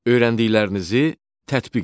Öyrəndiklərinizi tətbiq edin.